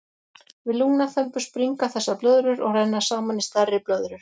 Við lungnaþembu springa þessar blöðrur og renna saman í stærri blöðrur.